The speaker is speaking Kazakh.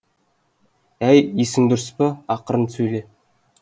әй есің дұрыс па ақырын сөйле